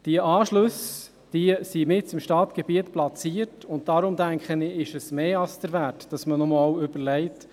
Die Anschlüsse sind mitten im Stadtgebiet platziert, und deshalb denke ich, ist es mehr Wert, dass man sich nochmals überlegt: